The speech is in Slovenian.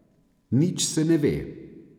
Nič se ne ve.